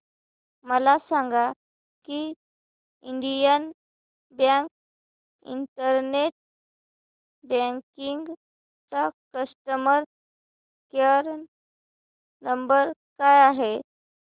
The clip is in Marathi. मला सांगा की इंडियन बँक इंटरनेट बँकिंग चा कस्टमर केयर नंबर काय आहे